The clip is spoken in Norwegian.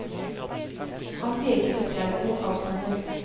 Han peker med sverdet mot halsen hennes.